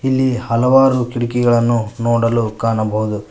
ಇಲ್ಲಿ ಹಲವಾರು ಕಿಟಕಿಗಳನ್ನು ನೋಡಲು ಕಾಣಬಹುದು.